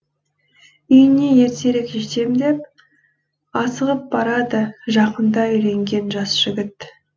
үйіне ертерек жетем деп асығып барады жақында үйленген жас жігіт